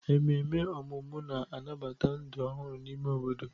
Ememe ọmụmụ na-anabata ndụ ọhụrụ n'ime obodo.